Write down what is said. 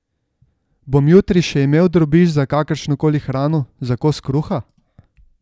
Bom jutri še imel drobiž za kakršno koli hrano, za kos kruha?